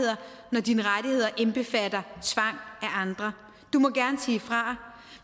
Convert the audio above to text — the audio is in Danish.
når dine rettigheder indbefatter tvang af andre du må gerne sige fra